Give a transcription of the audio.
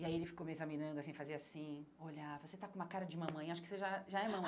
E aí ele ficou me examinando assim, fazia assim, olhava, você tá com uma cara de mamãe, acho que você já já é mamãe.